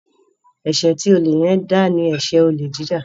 eṣe tí Ole yen ń dá ní eṣe Olè jíjà